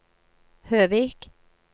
Høvik